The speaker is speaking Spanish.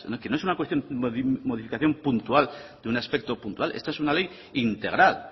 que no es una cuestión de modificación puntual de un aspecto puntual esta es una ley integral